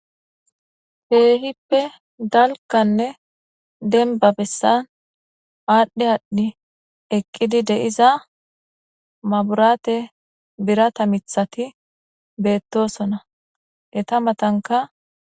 Kehippe dalkanne denba bessan aadhdhi aadhdhi eqqidi deiza maburaate birata mithati beettosona eta matanka